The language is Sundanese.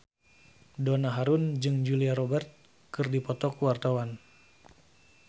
Donna Harun jeung Julia Robert keur dipoto ku wartawan